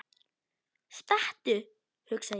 Stattu, hugsa ég.